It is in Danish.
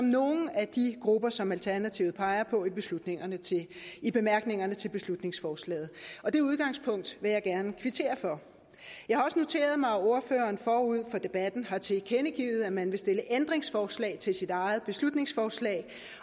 nogle af de grupper som alternativet peger på i bemærkningerne til beslutningsforslaget det udgangspunkt vil jeg gerne kvittere for jeg har også noteret mig at ordføreren forud for debatten har tilkendegivet at man vil stille ændringsforslag til sit eget beslutningsforslag